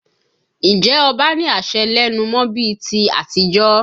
Ǹjẹ́ ọba ní àṣẹ lẹ́nu mọ́ bí i ti àtijọ́?